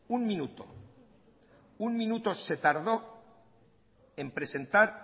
un minuto un minuto se tardó en presentar